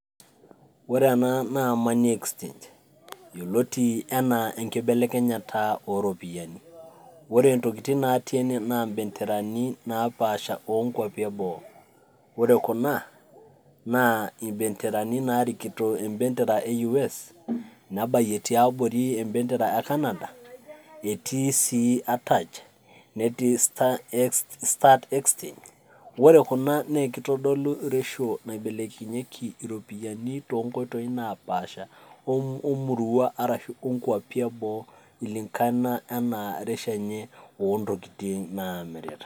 Ore ena naa money exchange yeloti anaa enkibelekenyata ooropiyiani, ore ntokitin natii ene naa mbenterani napaasha oonkwapi eboo ,ore kunaa naa mbenterani naarikito embentera eyues, nebaiye te abori ebentera e canada etii sii atach netii start exchange ore kuna naa ekeitodolu ereshio naibelekinyeji iropiyiani to nkoitoi napaasha omurrua arashu nkwapi eboo kulingana enaa reshio enye oo ntokitin naata.